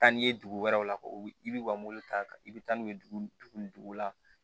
Taa n'i ye dugu wɛrɛw la u bi ka mobili ta i bɛ taa n'u ye dugu ni dugu la